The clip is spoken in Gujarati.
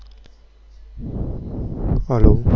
hello